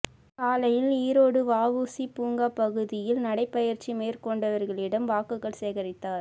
காலையில் ஈரோடு வஉசி பூங்கா பகுதியில் நடைப்பயிற்சி மேற்கொண்டவர்களிடம் வாக்குகள் சேகரித்தார்